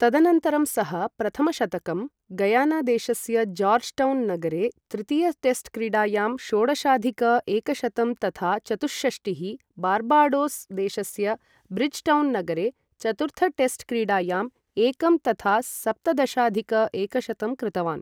तदनन्तरं सः प्रथमशतकं, गयानादेशस्य जार्ज्टौन् नगरे तृतीय टेस्ट् क्रीडायां षोडशाधिक एकशतं तथा चतुःषष्टिः, बार्बाडोस् देशस्य ब्रिज्टौन् नगरे चतुर्थ टेस्ट् क्रीडायां एकं तथा सप्तदशाधिक एकशतं कृतवान्।